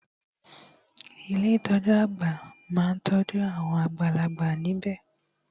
Ilé ìtọjú àgbà má n tọ́jú awon àgbàlagbà níbẹ̀.